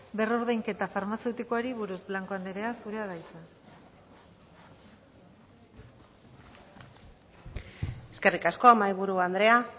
berrordainketa farmazeutikoari buruz blanco andrea zurea da hitza eskerrik asko mahaiburu andrea